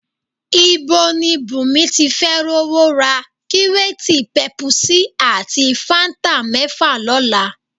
Ibo ni Bùnmi tí fẹ́ rówó ra kíréètì pẹpusí ati fáńtà mẹ́fà lọ́la?